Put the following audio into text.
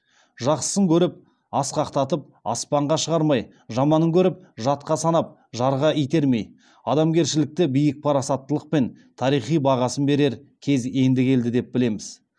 жақсысын көріп асқақтатып аспанға шығармай жаманын көріп жатқа санап жарға итермей адамгершілікті биік парасаттылықпен тарихи бағасын берер кез енді келді деп білеміз